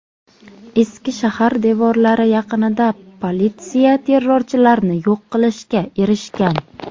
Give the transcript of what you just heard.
Eski shahar devorlari yaqinida politsiya terrorchilarni yo‘q qilishga erishgan.